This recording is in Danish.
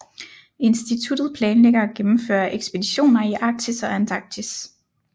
Instituttet planlægger og gennemfører ekspeditioner i Arktis og Antarktis